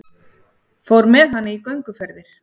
Fór með hana í gönguferðir.